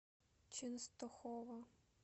ченстохова